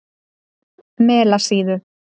Melasíðu